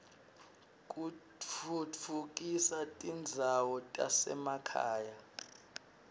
kutfutfukisa tindzawo tasema khaya